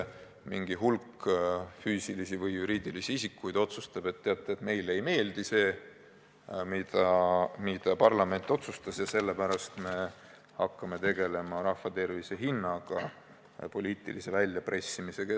Mingi hulk füüsilisi või juriidilisi isikuid otsustas, et teate, meile ei meeldi see, mida parlament otsustas, ja sellepärast me hakkame tegelema rahva tervise hinnaga poliitilise väljapressimisega.